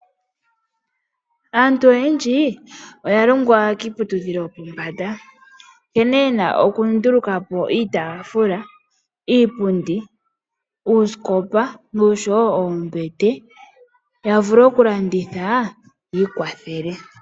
Aantu oyendji oyalongwa kiiputudhilo yopombanda, nkene yena okundulukapo iitafula, iipundi, uusikopa, noshowo oombete, ya vule okulanditha, yiikwathele.